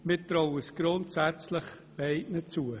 Wir trauen es grundsätzlich beiden zu.